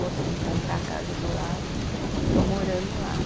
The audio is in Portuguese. Consegui comprar a casa do lado e estou morando lá.